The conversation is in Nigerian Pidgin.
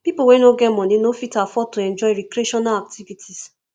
pipo wey no get money no fit afford to enjoy recreational activities